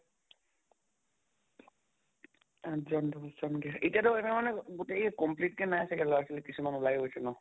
আঠ জন দশ জনকে এতিয়াতো মানে গোটেই কেইজন complete কে নাই চাগে লʼৰা ছোৱালী, কিছুমান ওলায়ো গৈছে ন?